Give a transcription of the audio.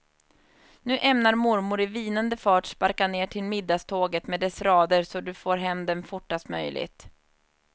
Nu ämnar mormor i vinande fart sparka ner till middagståget med dessa rader så att du får dem fortast möjligt.